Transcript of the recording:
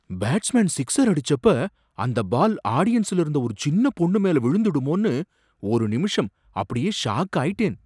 Batsman sixer அடிச்சப்ப அந்த ball ஆடியன்ஸ்ல இருந்த ஒரு சின்ன பொண்ணுமேல விழுந்துடுமோனு ஒரு நிமிஷம் அப்படியே ஷாக் ஆயிட்டேன்.